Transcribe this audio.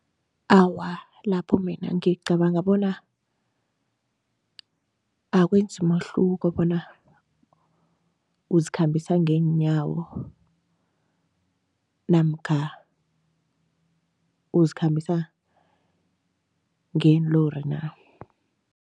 Awa, lapho mina ngicabanga bona akwenzi umehluko bona uzikhambisa ngeenyawo namkha uzikhambisa ngeenlori na.